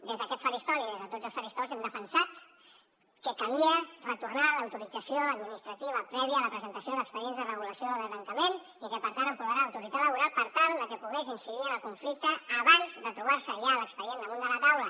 des d’aquest faristol i des de tots els faristols hem defensat que calia retornar l’autorització administrativa prèvia a la presentació d’expedients de regulació de tancament i per tant empoderar l’autoritat laboral per tal de que pogués incidir en el conflicte abans de trobar se ja l’expedient damunt de la taula